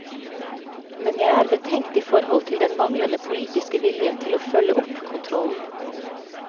Men jeg er betenkt i forhold til den manglende politiske viljen til å følge opp kontrollen.